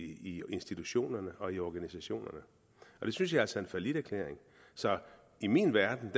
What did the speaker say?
i institutionerne og i organisationerne og det synes jeg altså er en falliterklæring i min verden